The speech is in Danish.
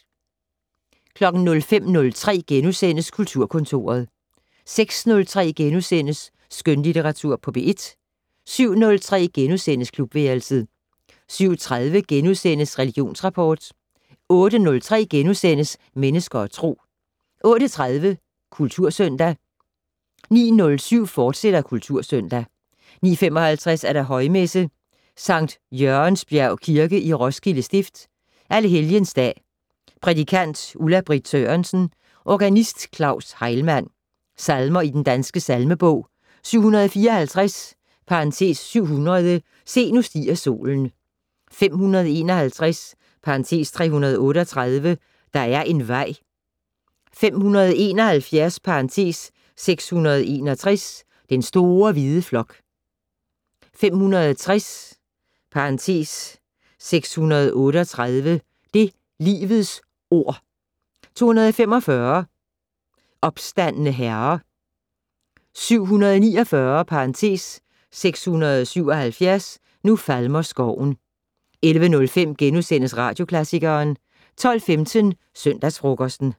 05:03: Kulturkontoret * 06:03: Skønlitteratur på P1 * 07:03: Klubværelset * 07:30: Religionsrapport * 08:03: Mennesker og Tro * 08:30: Kultursøndag 09:07: Kultursøndag, fortsat 09:55: Højmesse - Sankt Jørgensbjerg Kirke, Roskilde Stift. Alle helgens dag. Prædikant: Ulla Britt Sørensen. Organist: Claus Heilmann. Salmer i Den Danske Salmebog: 754 (700). "Se nu stiger solen". 551 (338). "Der er en vej". 571 (661). "Den store hvide flok". 560 638). "Det livets ord". 245 "Opstandne Herre". 749 (677). "Nu falmer skoven". 11:05: Radioklassikeren * 12:15: Søndagsfrokosten